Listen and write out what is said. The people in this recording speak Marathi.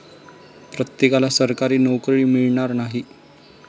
प्रत्येकाला सरकारी नोकरी मिळणार नाही.